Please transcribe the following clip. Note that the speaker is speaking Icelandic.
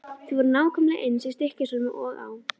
Þau voru nákvæmlega eins í Stykkishólmi og á